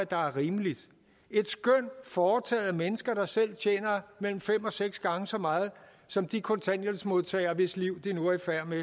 der er rimeligt et skøn foretaget af mennesker der selv tjener mellem fem og seks gange så meget som de kontanthjælpsmodtagere hvis liv de nu er i færd med